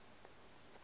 be ke sa re ke